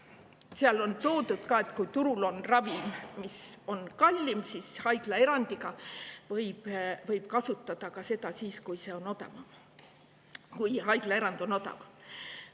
on toodud ka, et kui turul on ravim, mis on kallim, siis võib seda haiglaerandi korras kasutada ka siis, kui see on odavam.